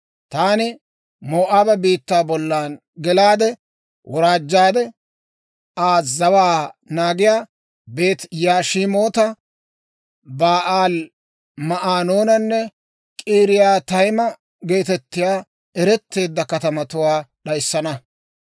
taani Moo'aaba biittaa bollan gelaade; woraajjaade Aa zawaa naagiyaa, Beeti-Yashimoota, Ba'aali-Ma'oonanne K'iriyaatayima geetettiyaa, eretteedda katamatuwaa d'ayissana.